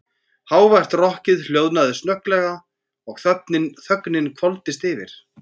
Hávært rokkið hljóðnaði snögglega og þögnin hvolfdist yfir.